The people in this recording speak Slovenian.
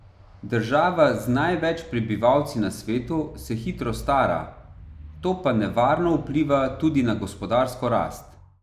Država z največ prebivalci na svetu se hitro stara, to pa nevarno vpliva tudi na gospodarsko rast.